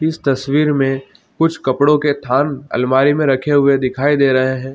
इस तस्वीर में कुछ कपड़ों के थान अलमारी में रखे हुए दिखाई दे रहे है।